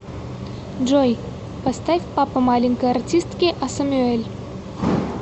джой поставь папа маленькой артистки асамюэль